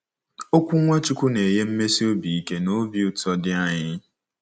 Okwu Nwachukwu na-enye mmesi obi ike na obi ụtọ dị anyị.